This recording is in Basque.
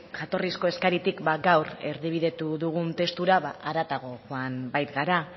jatorrizko eskaritik gaur erdibidetu dugun testura haratago joan baikara